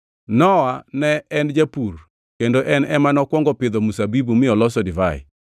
Nowa, ne en japur kendo en ema nokwongo pidho mzabibu mi olosogo divai.